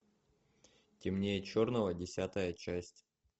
темнее черного десятая часть